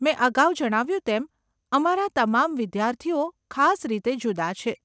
મેં અગાઉ જણાવ્યું તેમ, અમારા તમામ વિદ્યાર્થીઓ ખાસ રીતે જુદાં છે.